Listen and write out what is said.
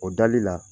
O dali la